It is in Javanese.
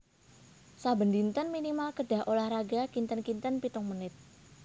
Saben dinten minimal kedah olahraga kinten kinten pitung menit